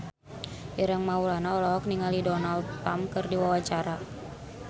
Ireng Maulana olohok ningali Donald Trump keur diwawancara